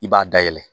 I b'a dayɛlɛ